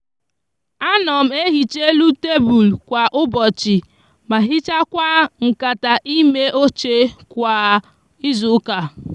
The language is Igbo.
a no m ehicha elu tablu kwa ubochi ma hichakwa nkata ime oche kwa izuuka